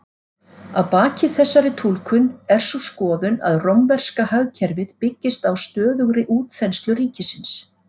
Að baki þessari túlkun er sú skoðun að rómverska hagkerfið byggðist á stöðugri útþenslu ríkisins.